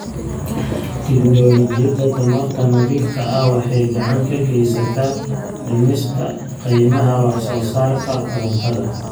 Tignoolajiyada tamarta nadiifka ah waxay gacan ka geystaan ??dhimista qiimaha wax soo saarka korontada.